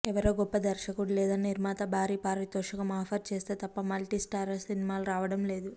ఎవరో గొప్ప దర్శకుడు లేదా నిర్మాత భారీ పారితోషికం ఆఫర్ చేస్తే తప్ప మల్టీస్టారర్ సినిమాలు రావడం లేదు